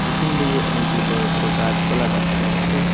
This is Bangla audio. পিছন দিকে অনেকগুলি বড় বড় গাছপালা দেখা যাচ্ছে।